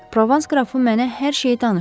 Provans qrafı mənə hər şeyi danışdı.